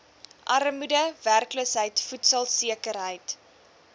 armoede werkloosheid voedselsekerheid